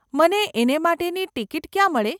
મને એને માટેની ટીકીટ ક્યાં મળે?